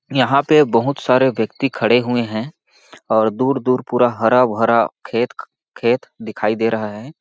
यहाँ पे बहुत सारे व्यक्ति खड़े हुए है और दूर -दूर पूरा हरा -भरा खेत ख खेत दिखाई दे रहा है।